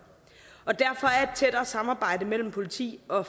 og derfor er et tættere samarbejde mellem politi og